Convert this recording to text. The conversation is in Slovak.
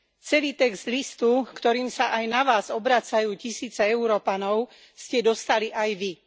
Celý text listu, ktorým sa aj na vás obracajú tisíce Európanov, ste dostali aj vy.